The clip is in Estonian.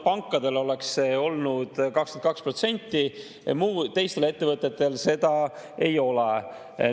Pankadele oleks see olnud 22%, teistel ettevõtetel seda ei ole.